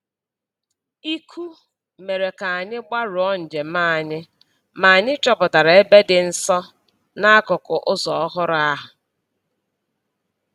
Íkú mere ka anyị gbarụọ njem anyị, ma anyị chọpụtara ebe dị nsọ n’akụkụ ụzọ ọhụrụ ahụ.